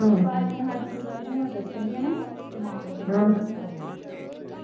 ਕਾਲੀ ਨੇ ਸਾਨੂੰ ਗੱਲ ਹੁਣ ਦੱਸੀ ਆ ਨਾ ਤੇ ਮਾਂ ਨੇ ਕਹਿਣਾ